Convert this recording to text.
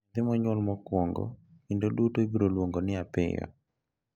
Nyathi ma onyuol mokwongo kinde duto ibiro luongo ni Apiyo .